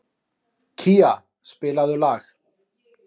Kía, spilaðu lag.